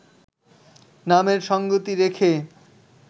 নামের সঙ্গতি রেখে